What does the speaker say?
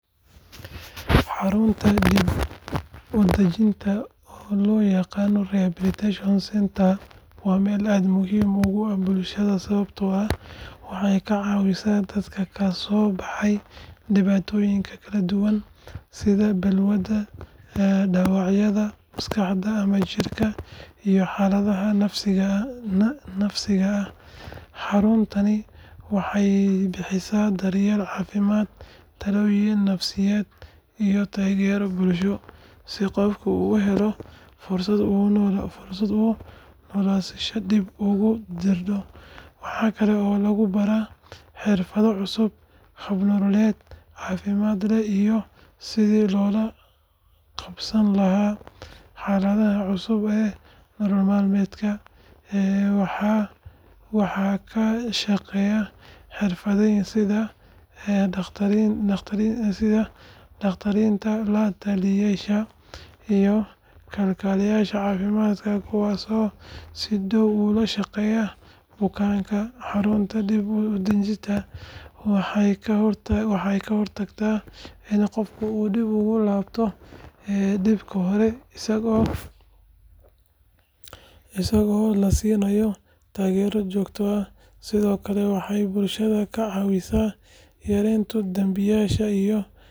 Xarunta dib u dajinta oo loo yaqaan rehabilitation centre waa meel aad muhiim ugu ah bulshada sababtoo ah waxay ka caawisaa dadka ka soo kabanaya dhibaatooyin kala duwan sida balwadda, dhaawacyada maskaxda ama jirka, iyo xaaladaha nafsiga ah. Xaruntani waxay bixisaa daryeel caafimaad, talooyin nafsiyeed iyo taageero bulsho si qofka uu u helo fursad uu noloshiisa dib ugu dhisto. Waxa kale oo lagu baraa xirfado cusub, hab nololeed caafimaad leh iyo sidii loola qabsan lahaa xaaladaha cusub ee nolol maalmeedka. Waxaa ka shaqeeya xirfadlayaal sida dhakhaatiirta, la-taliyeyaasha iyo kalkaaliyeyaasha caafimaadka kuwaas oo si dhow ula shaqeeya bukaanka. Xarunta dib u dajinta waxay ka hortagtaa in qofka uu dib ugu laabto dhibkii hore isagoo la siinayo taageero joogto ah. Sidoo kale waxay bulshada ka caawisaa yareynta dambiyada iyo xanuunnada la xiriira.